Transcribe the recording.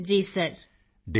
Kritika ji sir